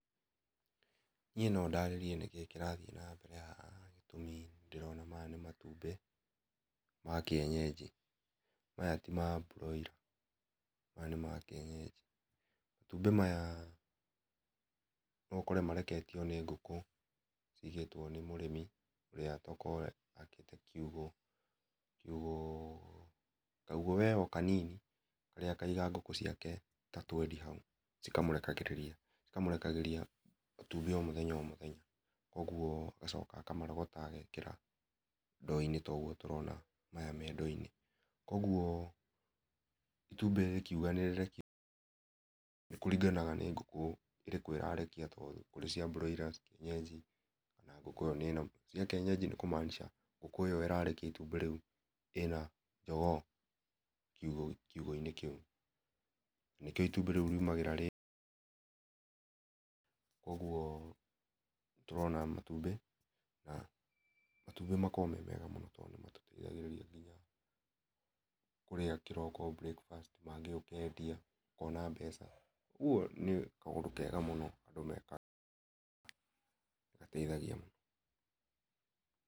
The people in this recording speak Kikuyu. Niĩ no ndarĩrie nĩkĩ kĩrathiĩ na mbere haha gĩtũmĩ nĩ ndĩrona maya nĩ matũmbĩ ma kĩenyenji, maya ti ma mbũroira maya nĩ makĩenyenji, matũmbĩ maya no ũkore mareketio nĩ ngũkũ cigĩtwo nĩ mũrĩmi ũrĩa tokorwo akĩte kiugũ, kiugũ, kaugũ we o kanini harĩa akaiga ngũkũ ciake ta twendi haũ cika mũrekagĩrĩria cikamũrekagĩria matũmbĩ o mũthenya o mũthenya, ũguo agacoka akarogota agekĩra ndoo-inĩ ta ũguo tũrona maya me ndoo-inĩ, koguo itũmbĩ rĩkiũga nĩ rĩrekio nĩkũringanaga nĩ ngũkũ ĩrĩkũ ĩrarekia, to nĩ kũrĩ cia mbũroira, nĩ kũrĩ cia kĩenyenji, ona ngũkũ ĩyo ĩ na cia kĩenyenji nĩkũ- maanisha ngũkũ ĩyo ĩrarekia itũmbĩ rĩũ ĩna njogoo kiugũ-inĩ kĩũ, na nĩkĩo itũmbĩ riũ rĩũmagĩra rĩ..., koguo nĩ tũrona matũmbĩ na matũmbĩ makoragwo me mega mũno to nĩmatũteĩthagĩria kũrĩa kĩroko breakfast, mangĩ ũkendia ũkona mbeca, koguo nĩ kaũndũ kega mũno andũ mekaga gateithagia mũno.